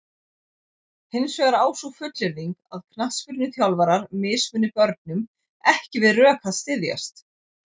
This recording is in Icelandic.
Hins vegar á sú fullyrðing að knattspyrnuþjálfarar mismuni börnum ekki við rök að styðjast.